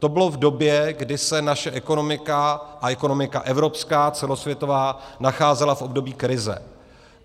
To bylo v době, kdy se naše ekonomika a ekonomika evropská celosvětová nacházela v období krize.